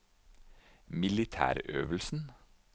militærøvelsen